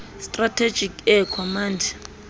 strategic air command